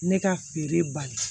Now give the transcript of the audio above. Ne ka feere bali